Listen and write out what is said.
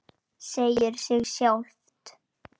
Segir sig sjálft.